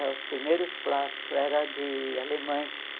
Os primeiros plásticos eram de alemães.